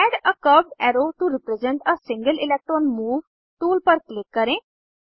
add a curved arrow to represent a single electron move tool पर click करें